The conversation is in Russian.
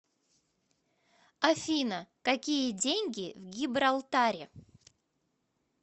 афина какие деньги в гибралтаре